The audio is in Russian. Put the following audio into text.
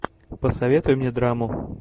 посоветуй мне драму